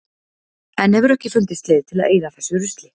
Enn hefur ekki fundist leið til að eyða þessu rusli.